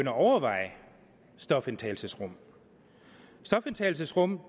at overveje stofindtagelsesrum stofindtagelsesrum